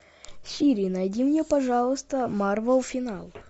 сири найди мне пожалуйста марвел финал